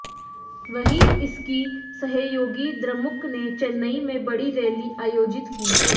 वहीं इसकी सहयोगी द्रमुक ने चेन्नई में बड़ी रैली आयोजित की